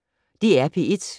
DR P1